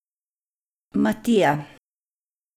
Matija.